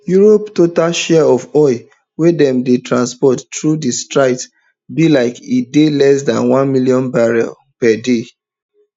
europe total share of oil wey dem dey transport through di strait be like e dey less dan one million barrels per day